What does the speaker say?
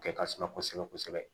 Kɛ ka suma kosɛbɛ